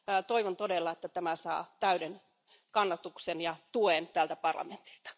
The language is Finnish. Toivon todella, että tämä saa täyden kannatuksen ja tuen tältä parlamentilta.